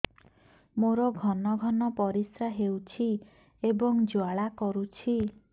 ମୋର ଘନ ଘନ ପରିଶ୍ରା ହେଉଛି ଏବଂ ଜ୍ୱାଳା କରୁଛି